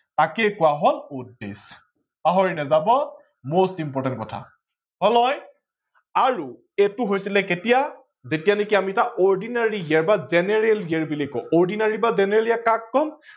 তাকেই কোৱা হয় odd days ।পাহৰি নাজাব বহুত important কথা। হল নহয় আৰু সেইটো হৈছিলে কেতিয়া যেতিয়া নেকি আমি এটা ordinary year বা general year বুলি কোৱা হয়।